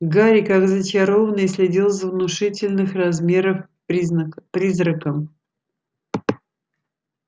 гарри как зачарованный следил за внушительных размеров призраком